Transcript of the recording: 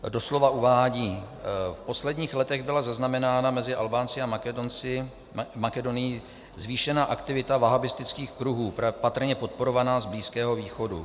Doslova uvádí: "V posledních letech byla zaznamenána mezi Albánci a Makedonií zvýšená aktivita wahhábistických kruhů, patrně podporovaná z Blízkého východu."